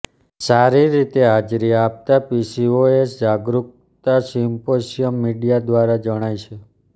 સારી રીતે હાજરી આપતા પીસીઓએસ જાગરૂકતા સિમ્પોસિયમ મીડિયા દ્વારા જણાય છે